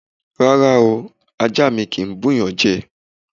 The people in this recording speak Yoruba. Rárá o! Ajá mi kì ń bú'yàn jẹ.